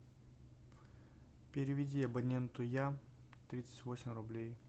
переведи абоненту я тридцать восемь рублей